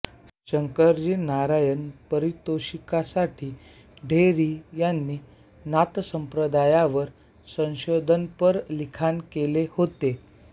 शंकराजी नारायण पारितोषिकासाठी ढेरे यांनी नाथसंप्रदायावर संशोधनपर लिखाण केले होते